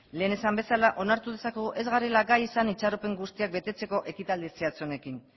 lehen esan bezala onartu dezakegu ez garela gai izan itxaropen guztiak betetzeko ekitaldi zehatz honekin